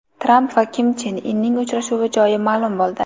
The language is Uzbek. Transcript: Tramp va Kim Chen Inning uchrashuvi joyi ma’lum bo‘ldi.